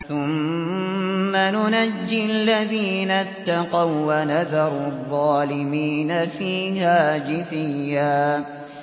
ثُمَّ نُنَجِّي الَّذِينَ اتَّقَوا وَّنَذَرُ الظَّالِمِينَ فِيهَا جِثِيًّا